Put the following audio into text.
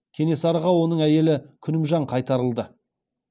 кенесарыға оның әйелі күнімжан қайтарылды